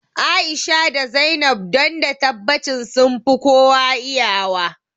A'isha da Zainab don da tabbacin sunfi kowa iya wa